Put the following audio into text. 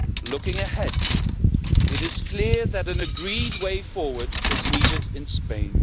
Looking ahead, it is clear that an agreed way forward is needed in Spain.